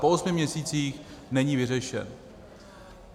Po osmi měsících není vyřešen.